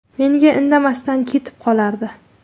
Menga indamasdan ketib qolardi.